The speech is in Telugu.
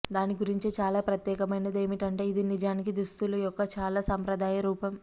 దాని గురించి చాలా ప్రత్యేకమైనది ఏమిటంటే ఇది నిజానికి దుస్తులు యొక్క చాలా సంప్రదాయ రూపం